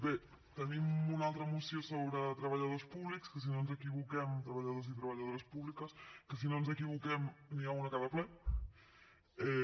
bé tenim una altra moció sobre treballadors públics que si no ens equivoquem treballadors i treballadores públiques n’hi ha una a cada ple